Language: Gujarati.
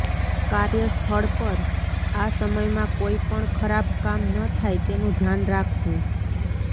કાર્યસ્થળ પર આ સમયમાં કોઈ પણ ખરાબ કામ ન થાય તેનું ધ્યાન રાખવું